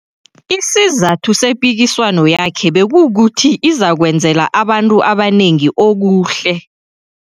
Isizathu sepikiswano yakhe bekukuthi izakwenzela abantu abanengi okuhle.